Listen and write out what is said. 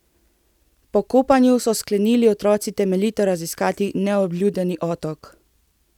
Po kopanju so sklenili otroci temeljito raziskati neobljudeni otok.